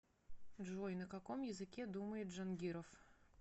джой на каком языке думает джангиров